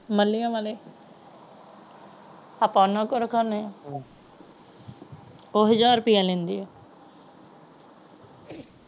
ਵਾਲੇ ਆਪਾ ਉਹਨਾਂ ਕੋਲ ਰੱਖਣੇ ਹਾਂ ਉਹ ਹਾਜਰ ਰੁਪਈਆ ਲੈਂਦੀ ਹੈ ਅੱਛਾ ।